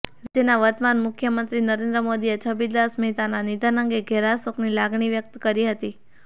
રાજ્યના વર્તમાન મુખ્યમંત્રી નરેન્દ્ર મોદીએ છબીલદાસ મહેતાના નિધન અંગે ઘેરા શોકની લાગણી વ્યક્ત કરી હતી